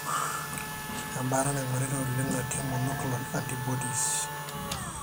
embaata naingoritae oleng natii monoclonal antibodies.